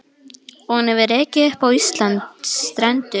Og hann hefur rekið upp á Íslands strendur.